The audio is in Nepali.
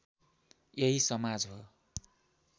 यही समाज हो